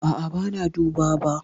A'a, ban duba ba.